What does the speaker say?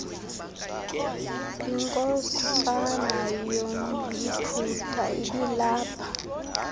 inkosana yomyiputa ibilapha